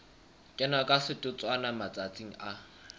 kena ka setotswana matsatsing a